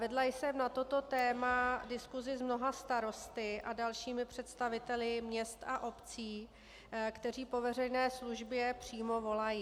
Vedla jsem na toto téma diskusi s mnoha starosty a dalšími představiteli měst a obcí, kteří po veřejné službě přímo volají.